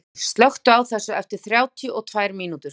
Sonný, slökktu á þessu eftir þrjátíu og tvær mínútur.